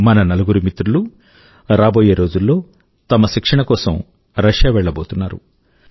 మన నలుగురు మిత్రులూ రాబోయే రోజుల్లో తమ శిక్షణ కోసం రశ్యా వెళ్లబోతున్నారు